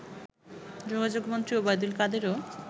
যোগাযোগমন্ত্রী Obaidul কাদেরও